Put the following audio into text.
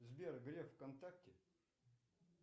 сбер греф в контакте